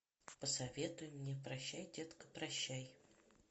посоветуй мне прощай детка прощай